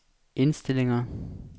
indstillinger